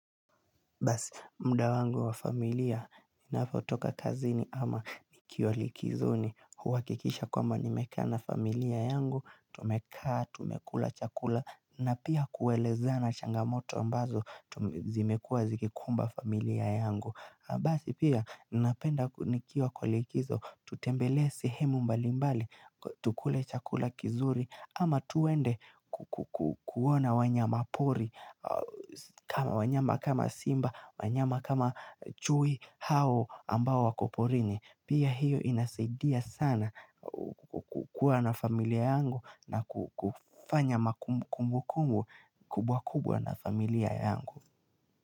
Basi mda wangu wa familia ninapotoka kazini ama nikio likizo ni huwakikisha kwama nimekana familia yangu, tumekaa, tumekula chakula na pia kuelezana changamoto ambazo zimekua zikikumba familia yangu. Basi pia, napenda kunikiwa kwa likizo, tutembele sihemu mbalimbali, tukule chakula kizuri, ama tuwende kuona wanyama pori, wanyama kama simba, wanyama kama chui hao ambao wakoporini. Pia hiyo inasaidia sana kukua na familia yangu na kufanya makumbu kumbu kumbu kubwa kubwa na familia yangu.